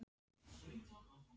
Hverjar eru væntingar þínar?